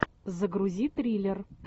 загрузи триллер